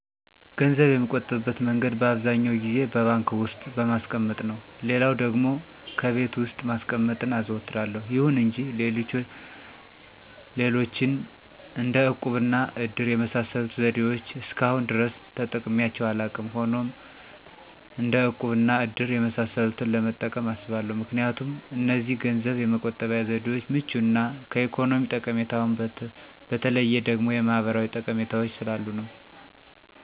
ገንዘብ የምቆጥብበት መንገድ በአብዛኛው ጊዜ በባንክ ዉስጥ በማስቀመጥ ነው። ሌላውም ደግሞ ከቤት ውስጥ ማስቀመጥን አዘወትራለሁ፤ ይሁን እንጂ ሌሎችን እንደ እቁብ እና እድር የመሳሰሉትን ዘዴዎች እስከአሁን ድረስ ተጠቅሜያቸው አላውቅም። ሆኖም እንደ እቁብ እና እድር የመሳሰሉትን ለመጠቀም አስባለሁ ምክንያቱም እነዚህ ገንዘብ የመቆጠቢያ ዘዴዎች ምቹ እና ከኢኮኖሚ ጠቀሜታውም በተለየ ደግሞ የማህበራዊ ጠቀሜታዎች ስላሉት ነው።